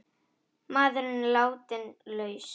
Maðurinn látinn laus